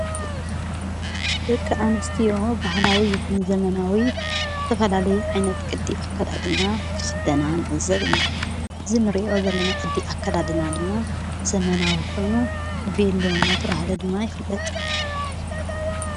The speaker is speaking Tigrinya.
ደቂ ኣንስትዮ ባህላዊ ይኹን ዘመናዊ ዝተፈላለ ዓይነት ቅዲ ኣከዳድና ክኽደና ንእዘብ ኢና ዝንርእዮ ዘለና ቕዲ ኣከዳድና ድማ ዘመናዊ ኾይኑ ቤልሎ ናተብሃለ ድማ ይፍለጥ።